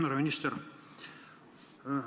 Härra minister!